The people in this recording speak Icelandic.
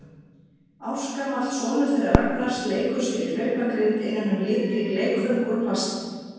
Ársgamall sonur þeirra Ragnars leikur sér í hlaupagrind innan um litrík leikföng úr plasti.